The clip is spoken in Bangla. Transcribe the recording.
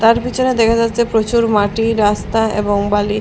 তার পিছনে দেখা যাচ্ছে প্রচুর মাটি রাস্তা এবং বালি।